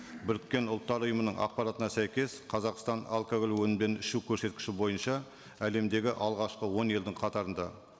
біріккен ұлттар ұйымының ақпаратына сәйкес қазақстан алкоголь өнімдерін ішу көрсеткіші бойынша әлемдегі алғашқы он елдің қатарында